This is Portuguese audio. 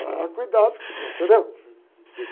Ah, cuidado, entendeu?